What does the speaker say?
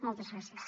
moltes gràcies